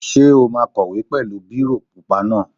Ṣé o máa kọ̀wé pẹ̀lú bírò pupa náà?